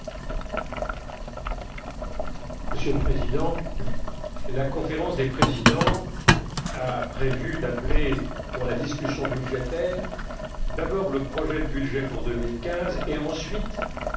Monsieur le Président, la Conférence des présidents a prévu, pour la discussion budgétaire, d'appeler d'abord le projet de budget pour 2015 et ensuite le budget rectificatif n° 2